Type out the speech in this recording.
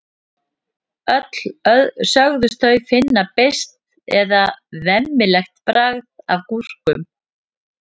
öll sögðust þau finna beiskt eða „vemmilegt“ bragð af gúrkum